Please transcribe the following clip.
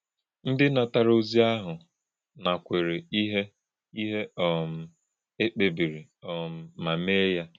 Ndị́ nàtárà̄ òzì̄ àhụ̄ nàkwèrè̄ íhè̄ íhè̄ um e kpè̄bì̄rì̄ um mà̄ mè̄yá.